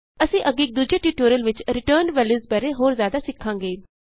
ਅਸੀਂ ਅੱਗੇ ਇਕ ਦੂਜੇ ਟਿਯੂਟੋਰਿਅਲ ਵਿਚ ਰਿਟਰਨਡ ਵੈਲਯੂਸ ਬਾਰੇ ਹੋਰ ਜਿਆਦਾ ਸਿੱਖਾਂਗੇ